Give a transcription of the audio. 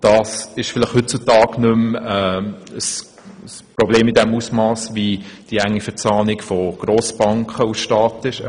Vielleicht ist dies heutzutage nicht mehr im selben Ausmass ein Problem wie etwa die Verzahnung von Grossbanken und Staat.